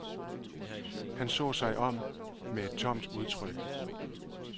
Han så sig om med et tomt udtryk.